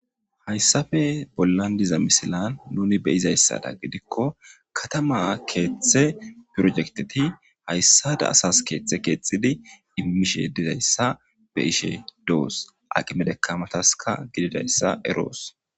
Haysape bolan diza missilan nuni be'zaysadan gidiko katama kethe pirojekteti haysada asas kethe kexidi imishe dizaysa be'ishe dos aqime dakamataska gididaysa eros.